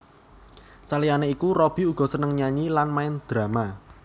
Saliyané iku Robby uga seneng nyanyi lan main drama